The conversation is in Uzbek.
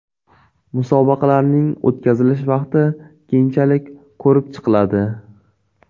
Musobaqalarning o‘tkazilish vaqti keyinchalik ko‘rib chiqiladi.